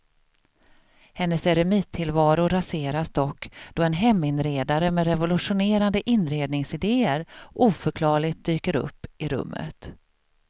Hennes eremittillvaro raseras dock då en heminredare med revolutionerande inredningsidéer oförklarligt dyker upp i rummet.